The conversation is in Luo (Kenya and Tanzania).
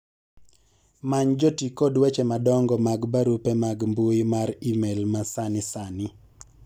many jotii kod weche madongo mag barupe mag mbui mar email ma sani sani